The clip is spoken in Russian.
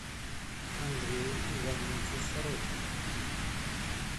андрею ивановичу сорокину